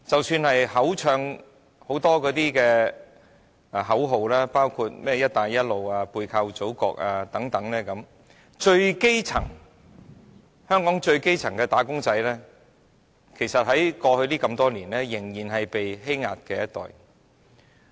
雖然叫喊了很多口號，包括甚麼"一帶一路"、"背靠祖國"等，香港最基層的"打工仔"，過去多年來其實仍然是被欺壓的一群。